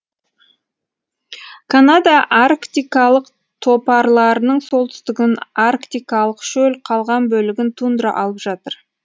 канада арктикалық топарларының солтүстігін арктикалық шөл қалған бөлігін тундра алып жатыр